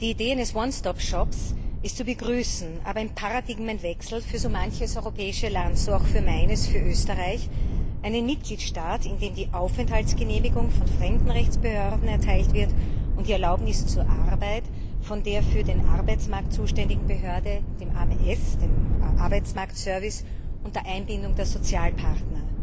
Die Idee eines ist zu begrüßen, aber im Paradigmenwechsel für so manches europäische Land, so auch für meines, für Österreich, einen Mitgliedstaat, in dem die Aufenthaltsgenehmigung von Fremdenrechtsbehörden und die Erlaubnis zur Arbeit von der für den Arbeitsmarkt zuständigen Behörde, dem AMS, dem Arbeitsmarktservice, unter Einbindung der Sozialpartner erteilt wird.